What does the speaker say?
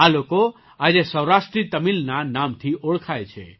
આલોકો આજે સૌરાષ્ટ્રી તમિલના નામથી ઓળખાય છે